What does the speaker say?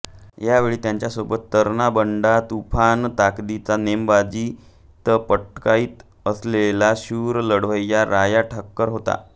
यावेळी त्याच्यासोबत तरणाबांड तुफान ताकदीचा नेमबाजीत पटाईत असलेला शूर लढवय्या राया ठाकर होता